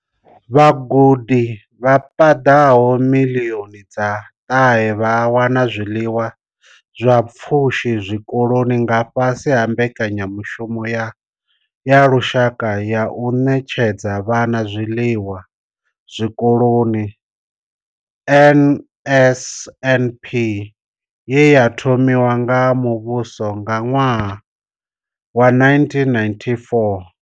Vhagudi vha paḓaho miḽioni dza ṱahe vha wana zwiḽiwa zwa pfushi zwikoloni nga fhasi ha mbekanyamushumo ya lushaka ya u ṋetshedza vhana zwiḽiwa zwikoloni NSNP ye ya thomiwa nga muvhuso nga ṅwaha wa 1994.